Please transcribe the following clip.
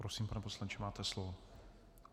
Prosím, pane poslanče, máte slovo.